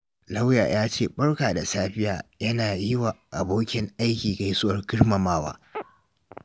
Lauya ya ce "Barka da safiya" yana yi wa abokin aiki gaisuwar girmamawa.